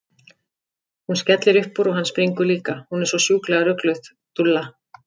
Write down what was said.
Hún skellir upp úr og hann springur líka, hún er svo sjúklega rugluð, dúlla!